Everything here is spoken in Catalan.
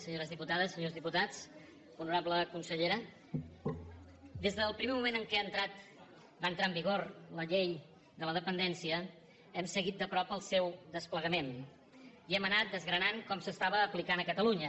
senyores diputades senyors diputats honorable consellera des del primer moment en què va entrar en vigor la llei de la dependència hem seguit de prop el seu desplegament i hem anat desgranant com s’estava aplicant a catalunya